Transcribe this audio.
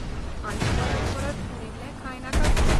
आनी परत परत उरील्लें खायनाकात म्हूण.